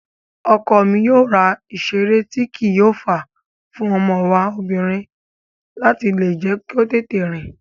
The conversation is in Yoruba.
Ọkọ mi yóò ra ìseré tíì kí o fàá fún ọmọ wa obìrin láti lè jẹ́ kó tètè rìn